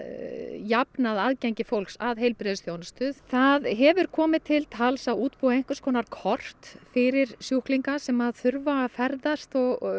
jafnað aðgengi fólks að heilbrigðisþjónustu það hefur komið til tals að útbúa einhvers konar kort fyrir sjúklinga sem þurfa að ferðast